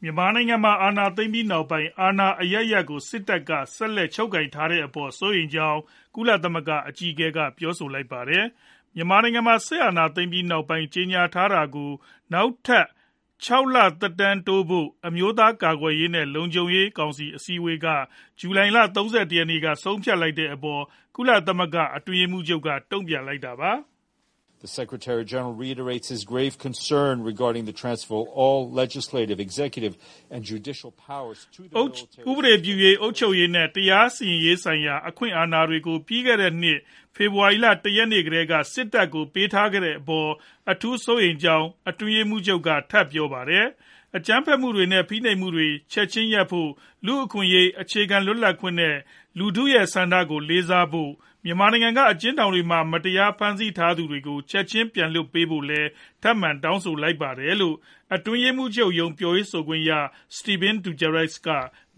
မြန်မာနိုင်ငံမှာ အာဏာသိမ်းပြီးနောက်ပိုင်း အာဏာအရပ်ရပ်ကို စစ်တပ်က ဆက်လက်ချုပ်ကိုင်ထားတဲ့အပေါ် စိုးရိမ်ကြောင်း ကုလသမဂ္ဂ အကြီးအကဲက ပြောလိုက်ပါတယ်။ မြန်မာနိုင်ငံမှာ စစ်အာဏာသိမ်းပြီးနောက်ပိုင်း အရေးပေါ် ကြေညာထားတာကို နောက်ထပ် ၆ လ သက်တမ်းတိုးဖို့ အမျိုးသားကာကွယ်ရေးနဲ့ လုံခြုံရေးကောင်စီ အစည်းအဝေးက ဇူလိုင်လ ၃၁ ရက်နေ့က ဆုံးဖြတ်ခဲ့တဲ့အပေါ် ကုလသမဂ္ဂ အတွင်းရေးမှူးချုပ်ရုံးက တုံ့ပြန်လိုက်တာပါ။ “ဥပဒေပြုရေး၊ အုပ်ချုပ်ရေးနဲ့ တရားရေးဆိုင်ရာ အခွင့်အာဏာတွေကို ပြီးခဲ့တဲ့နှစ် ဖေဖော်ဝါရီလ ၁ ရက်နေ့ကတည်းက စစ်တပ်ကို ပေးအပ်ထားတဲ့အပေါ် အထူးစိုးရိမ်ကြောင်း အတွင်းရေးမှူးချုပ်က ထပ်ပြောပါတယ်။ အကြမ်းဖက်မှုတွေနဲ့ ဖိနှိပ်မှုတွေ ချက်ခြင်းရပ်ဖို့၊ လူ့အခွင့်အရေး၊ အခြေခံလွတ်လပ်ခွင့်တွေနဲ့ လူထုရဲ့ဆန္ဒကို လေးစားဖို့၊ မြန်မာနိုင်ငံက အကျဉ်းထောင်တွေမှာ မတရားဖမ်းဆီး ထားသူတွေကို ချက်ခြင်းပြန်လွှတ်ဖို့လည်း ထပ်မံတောင်းဆိုလိုက်ပါတယ်။” လို့ အတွင်းရေးမှူးချုပ်ရုံး ပြောခွင့်ရ Stephane Dujarric က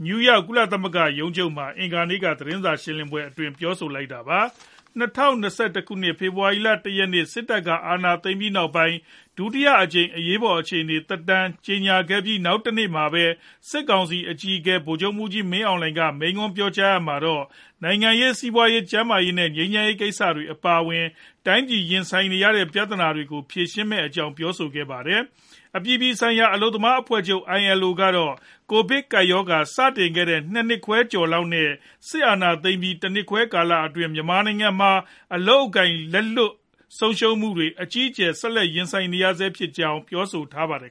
နယူးယောက် ကုလသမဂ္ဂရုံးချုပ်မှာ အင်္ဂါနေ့ သတင်းစာ ရှင်းလင်းပွဲအတွင်း ပြောလိုက်တာပါ။ ၂၀၂၁ ခုနှစ် ဖေဖော်ဝါရီလ ၁ ရက်နေ့ စစ်တပ်က အာဏာသိမ်းပြီးနောက်ပိုင်း ဒုတိယအကြိမ် အရေးပေါ် အခြေအနေ သက်တမ်းတိုးကြောင်း ကြေညာခဲ့ပြီး နောက်တနေ့မှာပဲ စစ်ကောင်စီအကြီးအကဲ ဗိုလ်ချုပ်မှူးကြီး မင်းအောင်လှိုင်က မိန့်ခွန်းပြောကြားရာမှာတော့ နိုင်ငံရေး၊ စီးပွားရေး၊ ကျန်းမာရေးနဲ့ ငြိမ်းချမ်းရေး ကိစ္စတွေ အပါအဝင် တိုင်းပြည်ရင်ဆိုင်နေရတဲ့ ပြဿနာတွေကို ဖြေရှင်းမယ့်အကြောင်း ပြောဆိုခဲ့ပါတယ်။ အပြည်ပြည်ဆိုင်ရာ အလုပ်သမားအဖွဲ့ချုပ် (ILO) ကတော့ ကိုဗစ်ကပ်ရောဂါ စတင်ခဲ့တဲ့ ၂ နှစ်ခွဲလောက်နဲ့ စစ်အာဏာသိမ်းပြီး ၁ နှစ်ခွဲ ကာလအတွင်း မြန်မာနိုင်ငံမှာ အလုပ်အကိုင် လက်လွတ်ဆုံးရှုံးမှုတွေနဲ့ အကြီးအကျယ် ဆက်လက်ရင်ဆိုင်နေရဆဲဖြစ်ကြောင်း ပြောဆိုထားပါတယ်